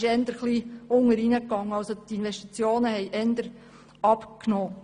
Die Investitionen gingen eher zurück.